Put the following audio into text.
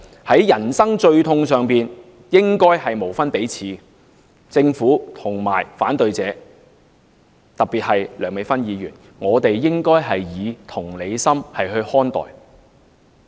在人生最痛的關口上，異性或同性伴侶應該無分彼此；政府和反對者，特別梁美芬議員，我們應該以同理心看待。